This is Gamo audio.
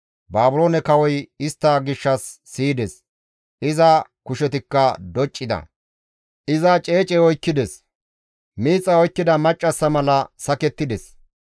Baabiloone kawoy istta gishshas siyides; iza kushetikka doccida; iza ceecey oykkides; miixay oykkida maccassa mala sakettides.